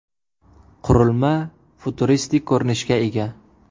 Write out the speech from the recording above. Qurilma futuristik ko‘rinishga ega.